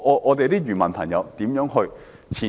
我們的漁民朋友如何前進？